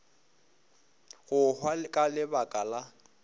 go hwa ka lebaka la